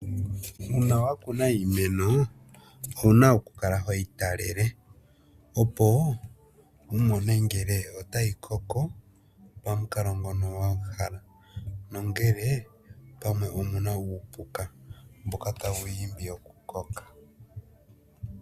Uuna wakuna iimeno owuna okukala hoyi talele opo, wumone ngele otayi koko pamukalo ngono wahala nongele pamwe omuna uupuka mboka tawu yi imbi okukoka.